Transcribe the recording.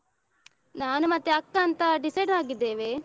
ನಾನು ಮತ್ತೆ ಅಕ್ಕ ಅಂತ decide ಆಗಿದ್ದೇವೆ.